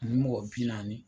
Ni mɔgɔ bi naani.